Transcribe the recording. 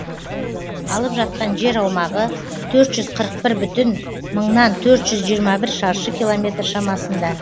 алып жатқан жер аумағы төрт жүз қырық бір бүтін мыңнан төрт жүз жиырма бір шаршы километр шамасында